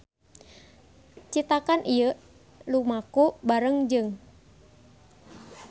Citakan ieu lumaku bareng jeung